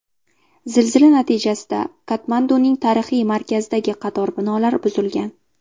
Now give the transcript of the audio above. Zilzila natijasida Katmanduning tarixiy markazidagi qator binolar buzilgan.